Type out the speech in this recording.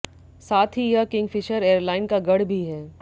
साथ ही यह किंगफिशर एयरलाइन का गढ़ भी है